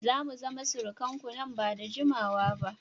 Za mu zama surukanku nan ba da jimawa ba